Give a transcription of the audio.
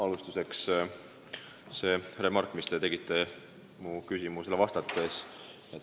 Alustuseks teie remargist mu küsimusele vastates.